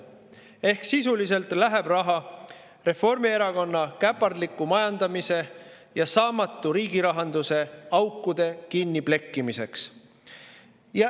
Ehk sisuliselt läheb raha Reformierakonna käpardliku majandamise ja saamatu riigirahanduse aukude kinniplekkimiseks.